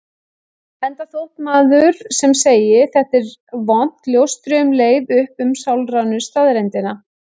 Enda þótt maður sem segi: Þetta er vont ljóstri um leið upp um sálrænu staðreyndina.